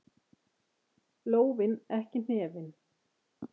Lófinn, ekki hnefinn.